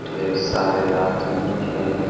ढेर सारे आदमी हैं।